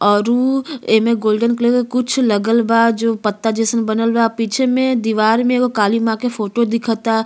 औरु ये में गोल्डन कलर के कुछ लागल बा जो पत्ता जइसन बनला बा। पीछे दीवार में काली माँ के फोटो दिखता।